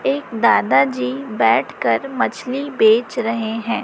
एक दादाजी बैठ कर मछली बेच रहे हैं।